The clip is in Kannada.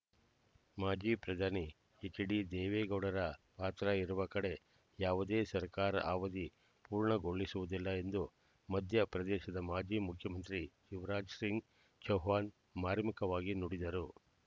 ಮಾಜಿ ಪ್ರಧಾನಿ ಹೆಚ್‌ಡಿ ದೇವೇಗೌಡರ ಪಾತ್ರ ಇರುವ ಕಡೆ ಯಾವುದೇ ಸರ್ಕಾರ ಅವಧಿ ಪೂರ್ಣಗೊಳಿಸುವುದಿಲ್ಲ ಎಂದು ಮಧ್ಯ ಪ್ರದೇಶದ ಮಾಜಿ ಮುಖ್ಯಮಂತ್ರಿ ಶಿವರಾಜ್ ಸಿಂಗ್ ಚೌಹಾಣ್ ಮಾರ್ಮಿಕವಾಗಿ ನುಡಿದರು